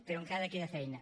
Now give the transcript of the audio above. però encara queda feina